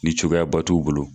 Ni cogoyaba t'u o bolo.